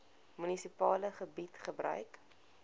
munisipale gebied gebruik